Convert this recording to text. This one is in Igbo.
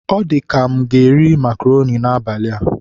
Ọ dị ka m ga-eri makroni n'abalị a.